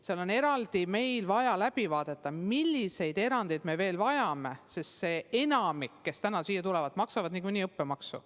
Meil on vaja eraldi läbi vaadata, milliseid erandeid me veel vajame, sest enamik, kes täna siia tulevad, maksavad niikuinii õppemaksu.